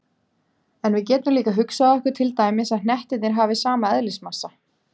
En við getum líka hugsað okkur til dæmis að hnettirnir hafi sama eðlismassa.